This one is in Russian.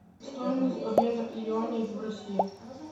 стоимость обмена юаней в россии